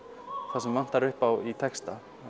það sem vantar upp á í texta